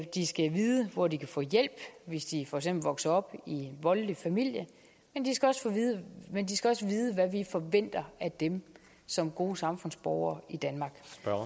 de skal vide hvor de kan få hjælp hvis de for eksempel vokser op i en voldelig familie men de skal også vide hvad vi forventer af dem som gode samfundsborgere i danmark